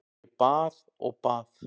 Ég bað og bað.